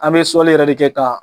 An bɛ sɔli yɛrɛ de kɛ ka